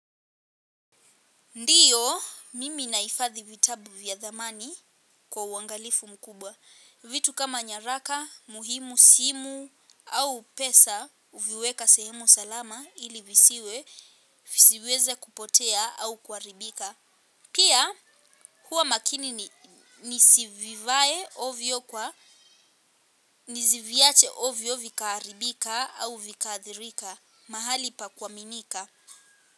Ndio, mimi nahifadhi vitabu vyathamani kwa uangalifu mkubwa. Vitu kama nyaraka muhimu, simu au pesa huviweka sehemu salama ili visiweze kupotea au kuharibika. Pia, huwa makini nisivivae ovyo nisiviache ovyo vikaharibika au vikaathirika mahali pakuaminika.